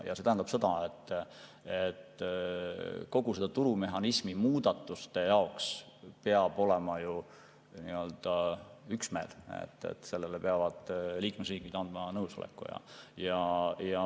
See tähendab seda, et kogu selle turumehhanismi muutmiseks peab olema üksmeel, liikmesriigid peavad selleks nõusoleku andma.